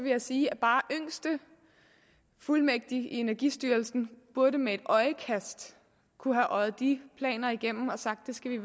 jeg sige at bare yngste fuldmægtig i energistyrelsen burde med et øjekast kunne have øjet de planer igennem og sagt det skal vi